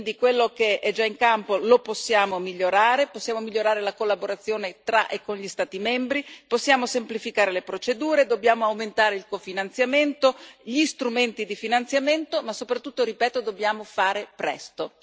Quindi quello che è già in campo lo possiamo migliorare, possiamo migliorare la collaborazione tra e con gli Stati membri, possiamo semplificare le procedure, dobbiamo aumentare il cofinanziamento e gli strumenti di finanziamento ma soprattutto, ripeto, dobbiamo fare presto.